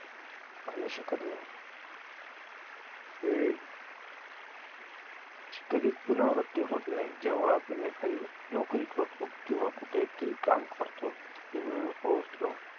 आणू शकत नाही. विविध शी कधीच पुनरावृत्ती होत नाही जेव्हा आपण एखादी नोकरी करतो किंवा कुठेतरी काम करतो, तिथे वेळेवर पोहोचलो